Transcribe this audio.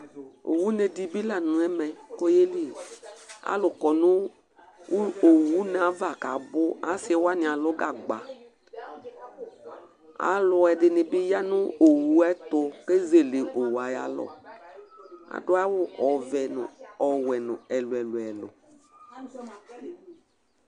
Owʋne ɛdìbí la nʋ ɛmɛ kʋ ayeli Alu kɔ nʋ owʋne ava kʋ abʋ Asi wani alʋ gagba Alʋɛdìní bi ya nʋ owu ɛtu kʋ ezele owuɛ ayʋ alɔ Adʋ awu ɔvɛ nʋ ɔwɛ nʋ ɛlu ɛlu ɛlʋ